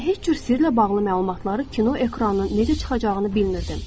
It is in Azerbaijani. Mən heç cür sirlə bağlı məlumatları kino ekranına necə çıxacağını bilmirdim.